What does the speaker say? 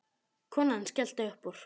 Konan skellti upp úr.